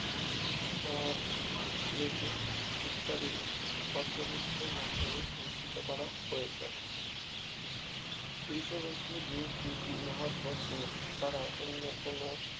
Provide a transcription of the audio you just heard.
আহ বেশি ইত্যাদির পর্যবেক্ষণের মাধ্যমে নিশ্চিত করা হয়েছে কৃষ্ণবস্তু যেহেতু মহাকর্ষ ছাড়া অন্য কোন